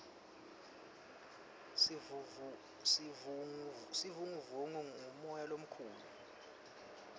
sivunguvungu ngumoya lomukhulu